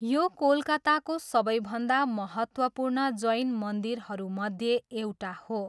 यो कोलकाताको सबैभन्दा महत्त्वपूर्ण जैन मन्दिरहरूमध्ये एउटा हो।